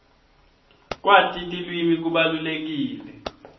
kwati tilwimi kubalulekile